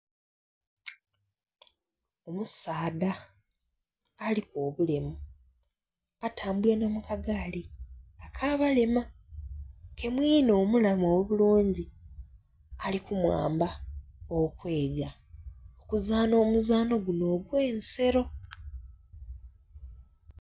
Omusaadha aliku obulemu atambulira na mu kagaali aka balema ke mwinhe omulamu obulungi ali ku muyamba okweega okuzaahna omuzaanho guno ogwe'nsero.